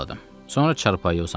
Sonra çarpayıya uzandım.